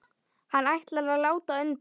Hann ætlar að láta undan.